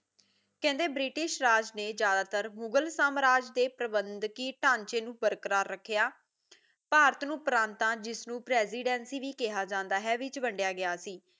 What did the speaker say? ਕਹਿੰਦੇ ਬ੍ਰਿਟਿਸ਼ ਰਾਜ ਨੇ ਜ਼ਿਆਦਾਤਾਰ ਮੁਗ਼ਲ ਸਮਰਾਜ ਦੇ ਪ੍ਰਬੰਧਕੀ ਟਾਚੇ ਨੂੰ ਬਰਕਰ ਰੱਖਿਆ ਭਾਰਤ ਨੂੰ ਪਰਤਾਂ ਜਿਸਨੂੰ ਪ੍ਰੈਸੀਡੈਂਸੀ ਵੀ ਕਿਆ ਜਾਂਦਾ ਹੈ ਵਿਚ ਵਡਿਆ ਗਿਆ ਸੀ